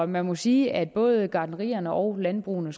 man må sige at både gartnerierne og landbrugene